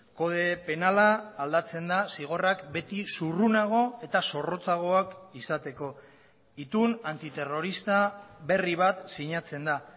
kode penala aldatzen da zigorrak beti zurrunago eta zorrotzagoak izateko itun antiterrorista berri bat sinatzen da